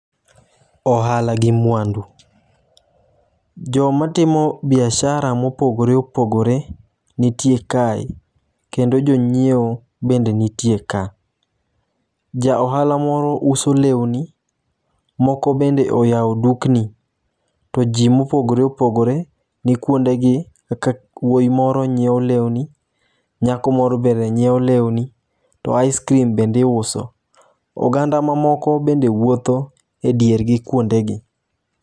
Ohala gi mwandu joma timo biashara mopogore opogore nitie kae kendo jonyiewo bende nitie ka . Ja ohala moro uso lewni, moko bende oyawo dukni to jii mopogore opogore ni kuonde gi kaka wuoyi moro nyiewo lewni, nyako moro bende nyiewo lewni to ice cream bende iuso .Oganda mamoko bende wuothe diergi kuonde gi.